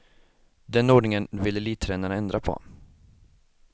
Den ordningen vill elittränarna ändra på.